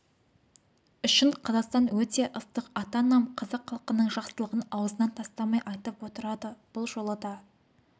үшін қазақстан өте ыстық ата-анам қазақ халқының жақсылығын аузынан тастамай айтып отырады бұл жолы да